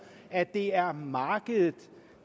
at det er markedet